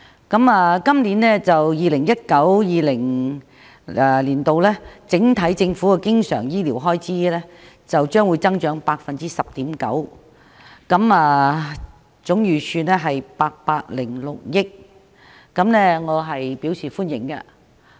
政府在 2019-2020 財政年度醫療方面的經常開支預算將會增加 10.9%， 總開支預算為806億元，我對此表示歡迎。